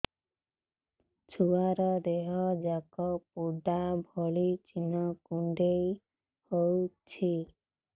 ଛୁଆର ଦିହ ଯାକ ପୋଡା ଭଳି ଚି଼ହ୍ନ କୁଣ୍ଡେଇ ହଉଛି